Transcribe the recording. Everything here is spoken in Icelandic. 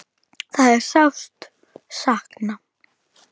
Það er sárt sakna.